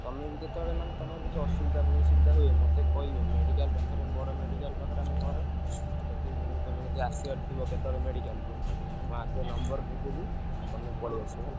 ତମେ ବି ଯେତେବେଳେ ମାନେ ତମର କିଛି ଅସୁବିଧା ହୁଏ ସୁବିଧା ହୁଏ ମତେ କହିବ medical ପାଖରେ ବଡ medical ପାଖରେ ଆମ ଘର। ଆଉ ଯଦି ମୁଁ ତମର ଯଦି ଆସିବାର ଥିବ କେତବେଳେ medical କୁ ମୁଁ ଆଗ number କରିଦେବି। ଆଉ ତମେ ପଳେଇ ଆସିବ ହେଲା।